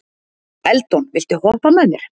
Eldon, viltu hoppa með mér?